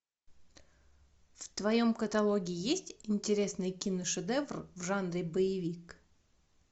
в твоем каталоге есть интересный киношедевр в жанре боевик